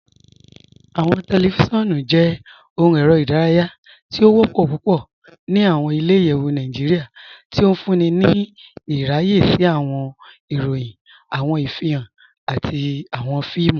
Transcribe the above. Awọn tẹlifíṣíọnu jẹ̀ òhùn èrè idáràyà tì o wọ́pọ̀ púpọ̀ ní awọn ilẹ̀-ìyẹ̀wù Nàìjíríà, tí ó fúnńí ní ìràyẹ̀ sí awọn ìròyìn, awọn ìfihan, àti awọn fíìmù.